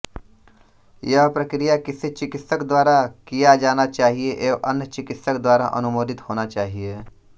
यह प्रक्रिया किसी चिकित्सक द्वारा किया जाना चाहिए एवं अन्य चिकित्सक द्वारा अनुमोदित होना चाहिए